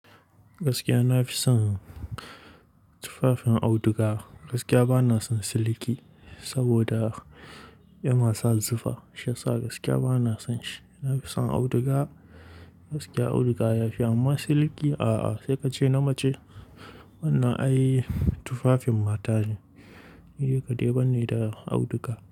Gaskiya na fi son tufafin auduga. Gaskiya ba na son siliki saboda ya nasa zufa Shiyasa gaskiya ba na son shi. Na fi son auduga. Gaskiya auduga ya fi amma siliki a'a, sai ka ce na mace wannan ai tufafin mata ne. Ni kadai bane da auduga.